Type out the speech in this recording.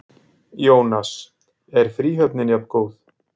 Jónas: Er fríhöfnin jafngóð?